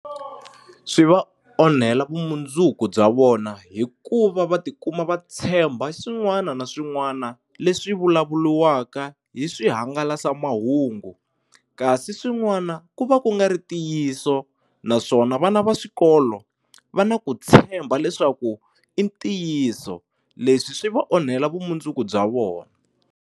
Swi va onhela vumundzuku bya vona hikuva va tikuma va tshemba swin'wana na swin'wana leswi vulavuliwaka hi swihangalasamahungu kasi swin'wana ku va ku nga ri ntiyiso naswona vana va swikolo va na ku tshemba leswaku i ntiyiso leswi swi va onhela vumundzuku bya vona.